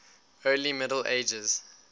early middle ages